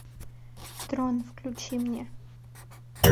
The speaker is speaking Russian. трон включи мне